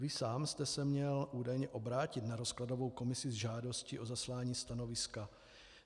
Vy sám jste se měl údajně obrátit na rozkladovou komisi s žádostí o zaslání stanoviska.